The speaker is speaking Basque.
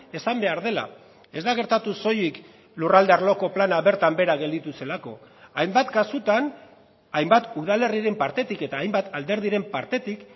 esan behar dela ez da gertatu soilik lurralde arloko plana bertan behera gelditu zelako hainbat kasutan hainbat udalerriren partetik eta hainbat alderdiren partetik